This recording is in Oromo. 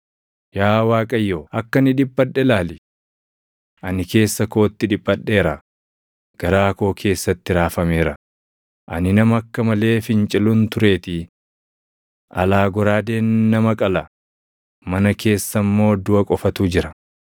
“Yaa Waaqayyo akka ani dhiphadhe ilaali! Ani keessa kootti dhiphadheera; garaa koo keessatti raafameera; ani nama akka malee fincilun tureetii. Alaa goraadeen nama qala; mana keessa immoo duʼa qofatu jira.